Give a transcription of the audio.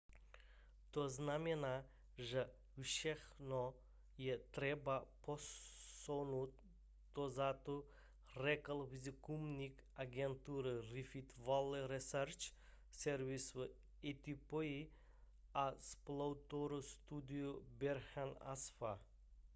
to znamená že všechno je třeba posunout dozadu řekl výzkumník agentury rift valley research service v etiopii a spoluautor studie berhane asfaw